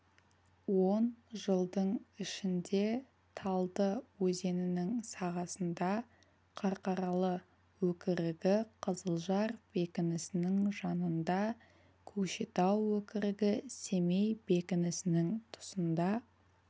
он жылдың ішінде талды өзенінің сағасында қарқаралы өкірігі қызылжар бекінісінің жанында көкшетау өкірігі семей бекінісінің тұсында